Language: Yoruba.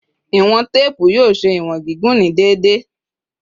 Iwọn teepu yoo ṣe iwọn gigun ni deede